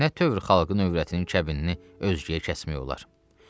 Nə tövr xalqın övrətinin kəbinini özgəyə kəsmək olar?